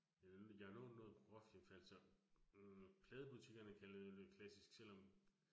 Øh jeg har lånt noget Prokofjev, altså hm pladebutikkerne kalder det jo klassisk selvom